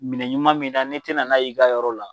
Minɛn ɲuman min na n'i tɛna n'a y'i ka yɔrɔ la,